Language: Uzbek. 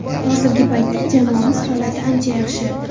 Hozirgi paytda jamoamiz holati ancha yaxshi.